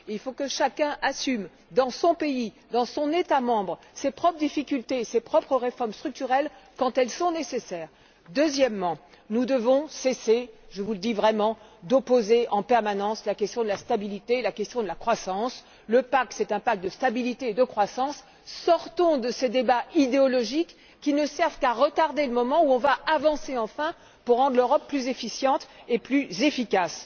Il faut que chacun assume, dans son pays, dans son État membre, ses propres difficultés et ses propres réformes structurelles quand elles sont nécessaires. Deuxièmement, nous devons cesser je vous le dis sérieusement d'opposer en permanence la question de la stabilité à celle de la croissance le pacte est un pacte de stabilité et de croissance. Sortons de ces débats idéologiques qui ne servent qu'à retarder le moment où nous progresserons enfin pour rendre l'Europe plus efficiente et plus efficace!